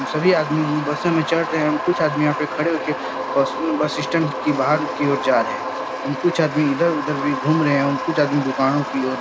हम सभी आदमी बसों में चढ़ रहे हैं। कुछ आदमी यहां पर खड़े होके बस स्टैंड की बाहर की ओर जा रहे हैं। उन कुछ आदमी इधर उधर भी घूम रहे हैं। उन कुछ आदमी दुकानों की ओर --